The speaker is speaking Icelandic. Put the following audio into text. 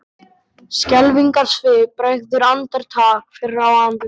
Skelfingarsvip bregður andartak fyrir á andliti